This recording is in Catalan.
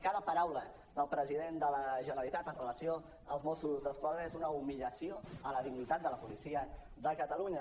cada paraula del presi·dent de la generalitat en relació amb els mossos d’esquadra és una humiliació a la dignitat de la policia de catalunya